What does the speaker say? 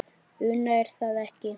Una: Er það ekki?